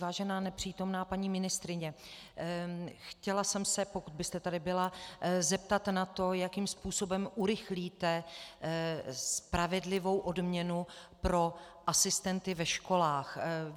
Vážená nepřítomná paní ministryně, chtěla jsem se, pokud byste tady byla, zeptat na to, jakým způsobem urychlíte spravedlivou odměnu pro asistenty ve školách.